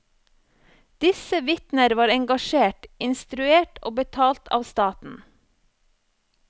Disse vitner var engasjert, instruert og betalt av staten.